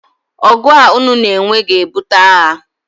ọgụ a unu na-enwe ga-ebute agha